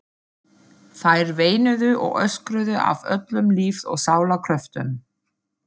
Þær veinuðu og öskruðu af öllum lífs og sálar kröftum.